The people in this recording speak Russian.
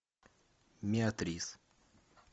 миатрис